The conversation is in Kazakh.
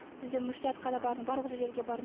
бізде мүфтиятқа да бардым барлық жерге де бардым